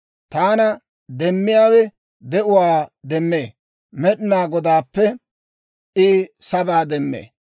Taana demmiyaawe de'uwaa demmee; Med'inaa Godaappe I sabaa demmee.